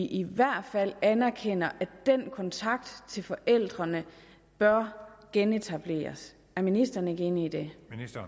i hvert fald anerkender at den kontakt til forældrene bør genetableres er ministeren ikke enig i det